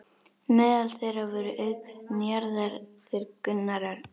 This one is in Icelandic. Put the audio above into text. Meðal þeirra voru auk Njarðar þeir Gunnar Örn